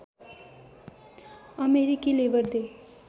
अमेरिकी Labour day